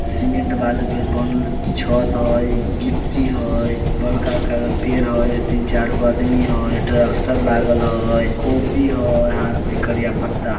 cement बालू के बनल छत हेय गिट्टी हेय बड़का-बड़का पेड़ हेय तीन चार गो आदमी हेय ट्रेक्टर लागल हेय कॉपी हेय हाथ मे करिया पट्टा ---